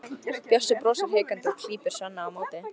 Bjössi brosir hikandi og klípur Svenna á móti.